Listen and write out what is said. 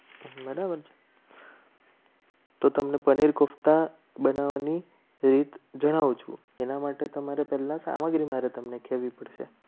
તો તમને પનીર કોફતા બનાવવાની રીત જણાવજો એના માટે તમારે પહેલા સામગ્રી પડશે.